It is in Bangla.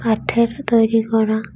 কাঠের তৈরি করা।